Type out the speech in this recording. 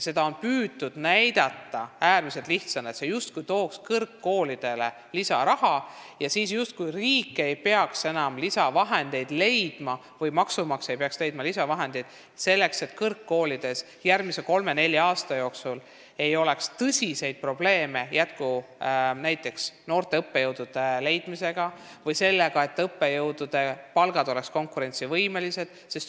Seda on püütud näidata äärmiselt lihtsana, justkui see tooks kõrgkoolidele lisaraha ja siis riik ei peaks enam leidma lisavahendeid, selleks et kõrgkoolides järgmise kolme-nelja aasta jooksul ei oleks tõsiseid probleeme noorte õppejõudude leidmisega ja õppejõudude palgad oleksid konkurentsivõimelised.